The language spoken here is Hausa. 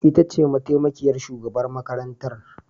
Ita ce mataimakiyar shugaban makarantar